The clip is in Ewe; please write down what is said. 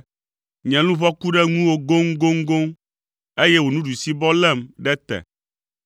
Nye luʋɔ ku ɖe ŋuwò goŋgoŋgoŋ, eye wò ɖusibɔ lém ɖe te.